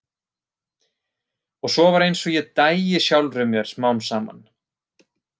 Og svo var einsog ég dæi sjálfri mér smám saman.